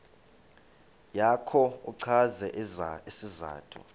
yakho uchaze isizathu